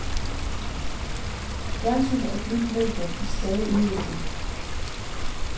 Fjernsyn er et nyt medium i stadig udvikling.